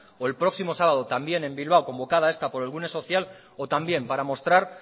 o el próximo sábado también en bilbao convocada esta por el gune social o también para mostrar